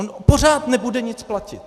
On pořád nebude nic platit.